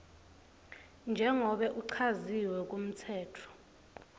njengobe kuchaziwe kumtsetfo